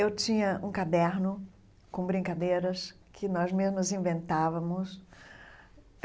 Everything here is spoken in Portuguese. Eu tinha um caderno com brincadeiras que nós mesmas inventávamos.